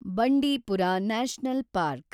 Bandipur national park